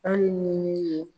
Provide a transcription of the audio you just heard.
Hali ni ne ye